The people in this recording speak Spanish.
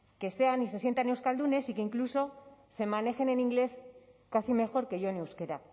que sean y se sientan euskaldunes y que incluso se manejen en inglés casi mejor que yo en euskera